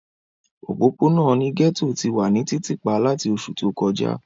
Opopona ni gẹto ti wa ni titipa lati oṣu to kọja.